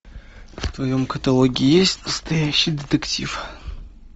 в твоем каталоге есть настоящий детектив